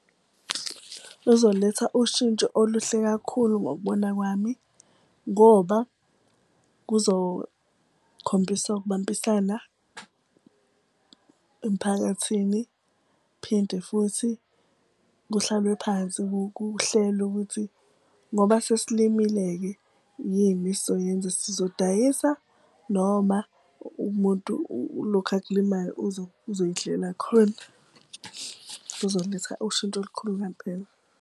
Luzoletha ushintsho oluhle kakhulu ngokubona kwami ngoba kuzokhombisa ukubambisana emphakathini. Phinde futhi kuhlalwe phansi kuhlelwe ukuthi ngoba sesilimile-ke yini esoyenza. Sizodayisa noma umuntu lokhu akulimayo uzoyidlela khona. Kuzoletha ushintsho olukhulu ngampela.